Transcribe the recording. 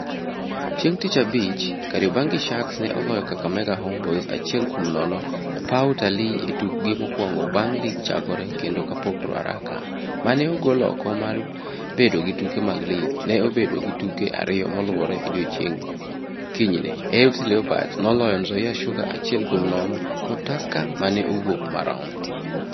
Chieng' tich abich Kariobangi Sharks ne oloyo Kakamega Homeboyz achiel kuom nono e paw Utalii e tukgi mokwongo bang' lig chakore kendo kapok Ruaraka, ma ne ogol oko mar bedo gi tuke mag lig, ne obedo gi tuke ariyo moluwore e odiechieng' kinyne (AFC Leopards noloyo Nzoia Sugar achiel kuom nono kod Tusker mane owuok marom).